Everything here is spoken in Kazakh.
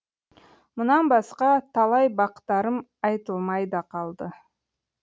мұнан басқа талай бақтарым айтылмай да қалды